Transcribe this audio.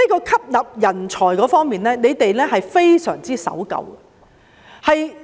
吸納人才方面，他們非常守舊。